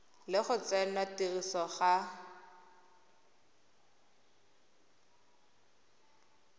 le go tsenngwa tirisong ga